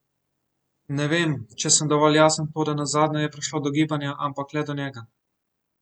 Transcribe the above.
Ne vem, če sem dovolj jasen, toda nazadnje je prišlo do gibanja, ampak le do njega.